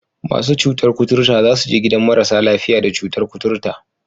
Masu cutar kuturta za su je gidan marasa lafiya da cutar kuturta